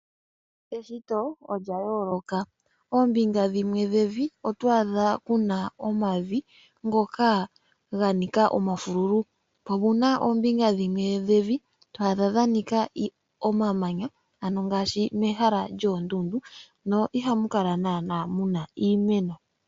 Eshito odja yooloka. Ombinga dhimwe dhevi otwaadha kuna omavi ngoka ganika omafulu, po opuna oombinga dhimwe dhevi twaadha dha nika omamanya ano ngaashi mehala djoondudu no ihamu kala naana muna iimeno.